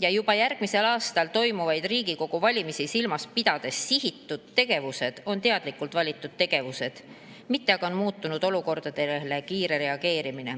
ja järgmisel aastal toimuvaid Riigikogu valimisi silmas pidades sihitud tegevused on teadlikult valitud tegevused, mitte aga kiire muutunud olukordadele reageerimine.